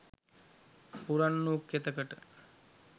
පුරන් වූ කෙතකට